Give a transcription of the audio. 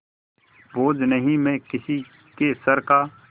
बोझ नहीं मैं किसी के सर का